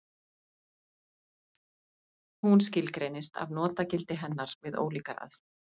Hún skilgreinist af notagildi hennar við ólíkar aðstæður.